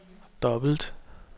dobbelt